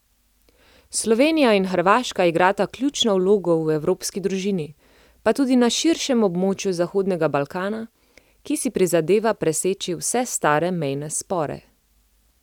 Slovenija in Hrvaška igrata ključno vlogo v evropski družini, pa tudi na širšem območju zahodnega Balkana, ki si prizadeva preseči vse stare mejne spore.